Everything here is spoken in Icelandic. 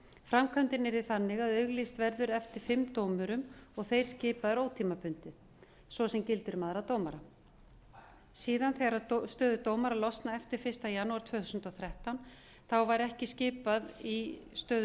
framkvæmdin yrði þannig að auglýst verður eftir fimm dómurum og þeir skipaðir ótímabundið svo sem gildir um aðra dómara síðan þegar stöður dómara losna eftir fyrsta janúar tvö þúsund og þrettán verður ekki skipað í stöður